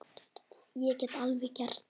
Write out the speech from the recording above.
Ég get alveg gert það.